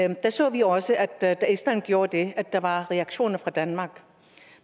da så vi også da island gjorde det at der var reaktioner fra danmark